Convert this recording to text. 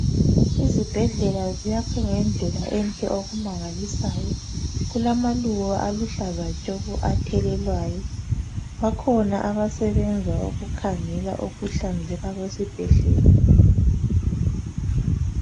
Izibhedlela ziyakhwe ngendlela enhle okumangalisayo, kulamaluba aluhlaza tshoko athelelwayo. Bakhona abasebenza ukukhangela ukuhlanzeka kwesibhedlela.